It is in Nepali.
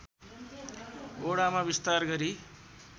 वडामा विस्तार गरी